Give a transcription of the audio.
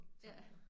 Ja